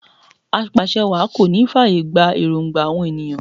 Apàṣẹwàá kò ní fàyè gba èròngba àwọn ènìyàn